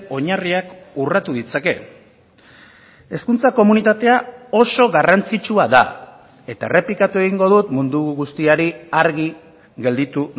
oinarriak urratu ditzake hezkuntza komunitatea oso garrantzitsua da eta errepikatu egingo dut mundu guztiari argi gelditu